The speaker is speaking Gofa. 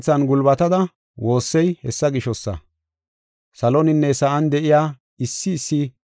Saloninne sa7an de7iya issi issi soo asay iyan sunthetees.